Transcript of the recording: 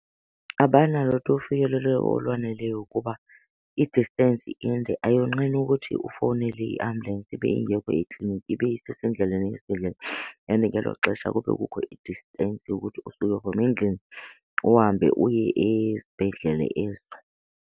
Abanalo tu ufikelelo olwaneleyo kuba i-distance inde, ayonqeni ukuthi ufowunele iambulensi ibe ingekho ekliniki ibe isesendleleni eya esibhedlele and ngelo xesha kube kukho i-distance yokuthi usuke from endlini uhambe uye esibhedlele .